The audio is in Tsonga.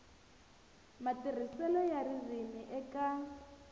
matirhiselo ya ririmi eka